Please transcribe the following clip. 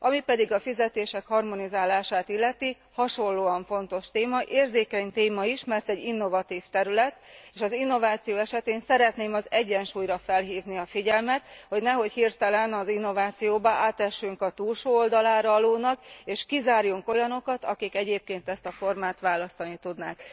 Ami pedig a fizetések harmonizálását illeti, hasonlóan fontos téma, érzékeny téma is, mert egy innovatív terület, és az innováció esetén szeretném az egyensúlyra felhívni a figyelmet, hogy nehogy hirtelen az innovációban átessünk a túlsó oldalára a lónak, és kizárjunk olyanokat, akik egyébként ezt a formát választani tudnák.